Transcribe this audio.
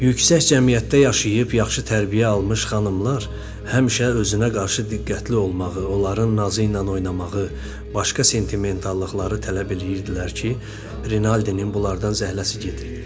Yüksək cəmiyyətdə yaşayıb yaxşı tərbiyə almış xanımlar həmişə özünə qarşı diqqətli olmağı, onların nazı ilə oynamağı, başqa sentimentallıqları tələb eləyirdilər ki, Rinaldinin bunlardan zəhləsi gedir.